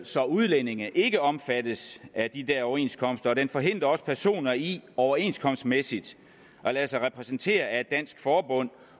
så udlændinge ikke omfattes af de der overenskomster og den forhindrer også personer i overenskomstmæssigt at lade sig repræsentere af et dansk forbund